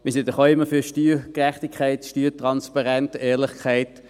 Wir sind doch auch immer für Steuergerechtigkeit und Steuertransparenz, Ehrlichkeit.